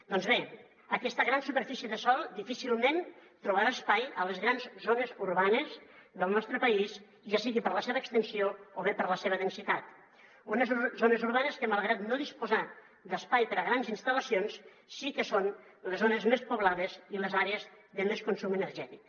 doncs bé aquesta gran superfície de sòl difícilment trobarà espai a les grans zones urbanes del nostre país ja sigui per la seva extensió o bé per la seva densitat unes zones urbanes que malgrat no disposar d’espai per a grans instal·lacions sí que són les zones més poblades i les àrees de més consum energètic